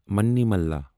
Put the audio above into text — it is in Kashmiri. منیمالا